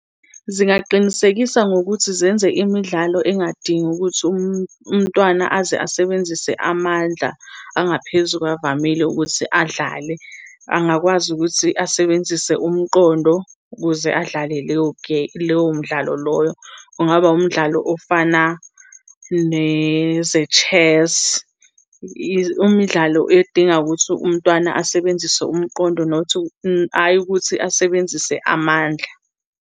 Zingaqinisekisa ngokuthi zenze imidlalo engadingi ukuthi umntwana aze asebenzise amandla angaphezu kwavamile ukuthi adlale. Angakwazi ukuthi asebenzise umqondo ukuze adlale leyo lowo mdlalo loyo. Kungaba wumdlalo ofana neze-chess, imidlalo edinga ukuthi umntwana asebenzise umqondo not, ayi ukuthi asebenzise amandla.